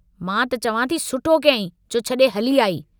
मां त चवां थी सुठो कयाईं जो छड़े हली आई।